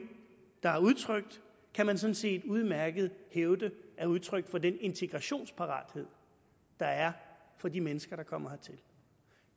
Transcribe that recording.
der er udtrykt kan man sådan set udmærket hævde er udtryk for den integrationsparathed der er for de mennesker der kommer hertil